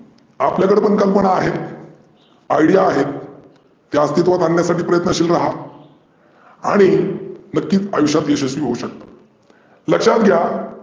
आपल्याकडे पण कल्पना आहेत. idea आहेत. त्या अस्तित्वात आन्यासाठी प्रयत्नशील रहा आणि मग ती आयुष्यात यशस्वी होऊ शकतात. लक्षात घ्या